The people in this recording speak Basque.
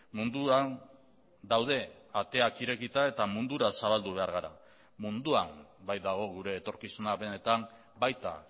munduan daude ateak irekita eta mundura zabaldu behar gara munduan baitago gure etorkizuna benetan baita